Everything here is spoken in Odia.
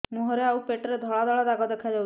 ମୁହଁରେ ଆଉ ପେଟରେ ଧଳା ଧଳା ଦାଗ ଦେଖାଯାଉଛି